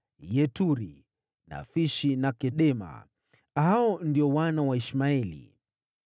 Yeturi, Nafishi na Kedema. Hao ndio wana wa Ishmaeli.